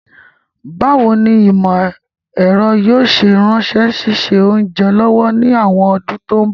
Báwoni ìmọ̀ èro yio se ran síse ounja lọ́wọ́ ni àwon odún to n bọ̀